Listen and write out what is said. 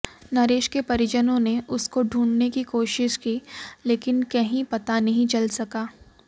नरेश के परिजनों ने उसको ढूंढने की कोशिश की लेकिन कहीं पता नहीं चल सका